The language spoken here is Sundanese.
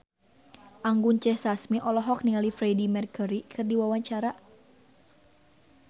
Anggun C. Sasmi olohok ningali Freedie Mercury keur diwawancara